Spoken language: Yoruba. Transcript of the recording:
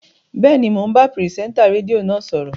Bẹ́ẹ̀ni, mò ń bá pìrìsẹ́ńtà rédíò náà sọ̀rọ̀